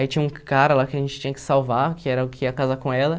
Aí tinha um cara lá que a gente tinha que salvar, que era o que ia casar com ela.